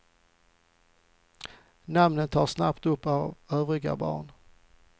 Namnen tas snabbt upp av övriga barn.